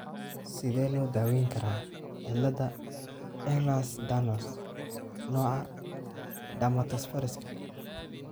Sidee loo daweyn karaa cilada Ehlers Danlos , nooca dermatosparaxiska?